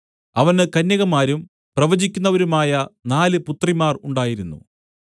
അവന് കന്യകമാരും പ്രവചിക്കുന്നവരുമായ നാല് പുത്രിമാർ ഉണ്ടായിരുന്നു